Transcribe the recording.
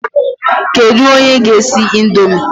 Kedu onye ga-esi ị̀ndómị́?